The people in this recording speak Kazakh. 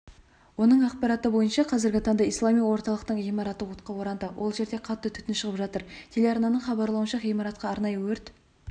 оның ақпараты бойынша қазіргі таңда ислами орталықтың ғимараты отқа оранды ол жерден қатты түтін шығып жатыр телеарнаның хабарлауынша ғимаратқа арнайы өрт